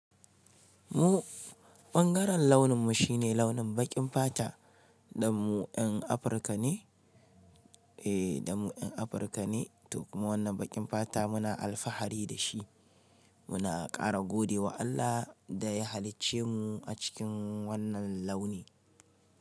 Mu ɓangaren launin mu shine launin baƙin fata. Dan mu yan Afirka ne. Eh, dan mu yan Afirka ne. To kuma wannan baƙin fata muna alfahari da shi. Muna ƙara gode wa Allah da ya halicce mu a cikin wannan launi.